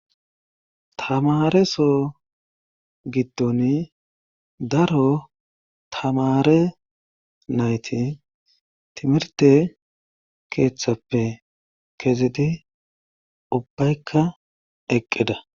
tamareso giddoni daro tamare nayti timirte keeththappe kezidi ubbaykka eqqida